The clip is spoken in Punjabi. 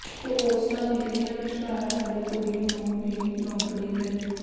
ਪੋਸਟਾਂ ਨਿਕਲੀਆਂ ਵਿਚਕਾਰ ਵਾਲੀ ਕੁੜੀ ਨੂੰ ਵੀ ਨੌਕਰੀ ਮਿਲ